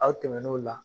Aw tɛmɛn'o la